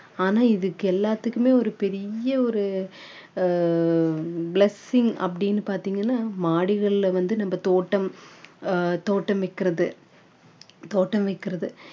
ஆனா இதுக்கு எல்லாத்துக்குமே ஒரு பெரிய ஒரு அஹ் blessing அப்படின்னு பார்த்தீங்கன்னா மாடிகளில வந்து நம்ம தோட்டம் ஆஹ் தோட்டம் வைக்கிறது தோட்டம் வைக்கிறது